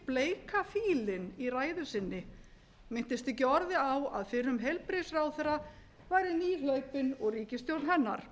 bleika fílinn í ræðu sinni minntist ekki orði á að fyrrum heilbrigðisráðherra væri liðhlaupinn og ríkisstjórn hennar